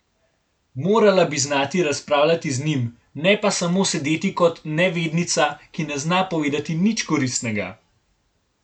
Morala bi znati razpravljati z njim, ne pa samo sedeti kot nevednica, ki ne zna povedati nič koristnega.